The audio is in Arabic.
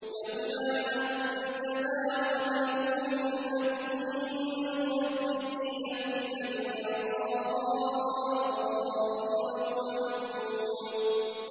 لَّوْلَا أَن تَدَارَكَهُ نِعْمَةٌ مِّن رَّبِّهِ لَنُبِذَ بِالْعَرَاءِ وَهُوَ مَذْمُومٌ